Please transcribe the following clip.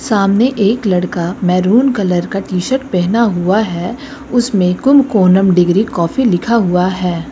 सामने एक लड़का मैरून कलर का टी शर्ट पहना हुआ है उसमें कुमकोनम डिग्री कॉफी लिखा हुआ है।